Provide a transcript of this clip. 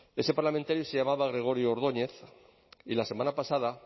ese parlamentario se llamaba gregorio ordóñez y la semana pasada